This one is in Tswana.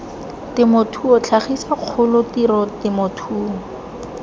temothuo tlhagiso kgolo tiro temothuo